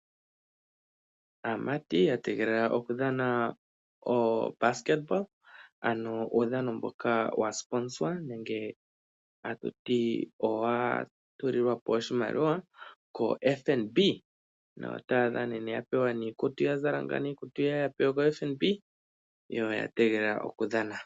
Aamati ya tegelela okudhana etanga lyomokambamba. Uudhano mboka wa kwashilipalekwa koFNB noya pewa iikutu mbyoka ya zala kuFNB. Yo oya tegelela okudhana.